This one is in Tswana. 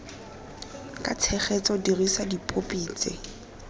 ka tshegetso dirisa dipopi tse